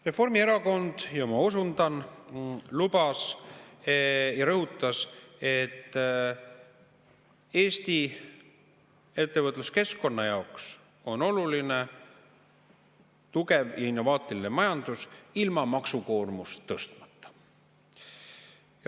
Reformierakond – ja ma osundan – lubas ja rõhutas, et Eesti ettevõtluskeskkonna jaoks on oluline tugev innovaatiline majandus ilma maksukoormust tõstmata.